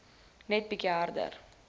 net bietjie harder